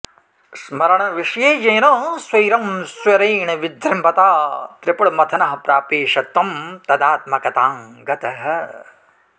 स्मरणविषये येन स्वैरं स्वरेण विजृम्भता त्रिपुरमथनः प्रापेशत्वं तदात्मकतां गतः